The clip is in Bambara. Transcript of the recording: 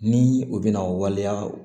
Ni u bɛna waleya